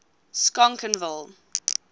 schonkenville